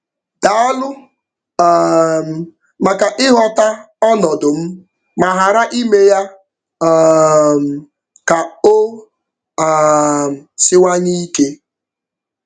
Daalụ um maka ịghọta ọnọdụ m ma ghara ime ya um ka o um siwanye ike.